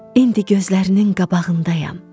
İndi gözlərinin qabağındayam.